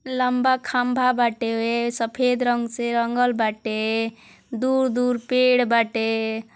लम्बा खम्बा बाटे। सफ़ेद रंग से रंगल बाटे। दूर दूर पेड बाटे |